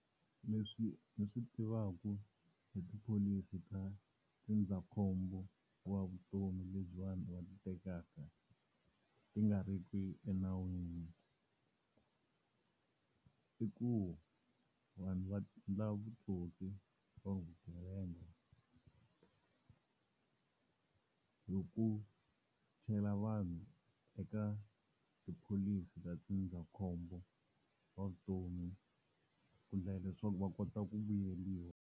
Leswi swi tivaku hi tipholisi ta ndzindzakhombo wa vutomi leti vanhu va ti tekaka ti nga riki enawini. I ku vanhu va ndla vutsotsi or vugevenga, hi ku chela vanhu eka tipholisi ta ndzindzakhombo wa vutomi, ku endlela leswaku va kota ku vuyeriwa.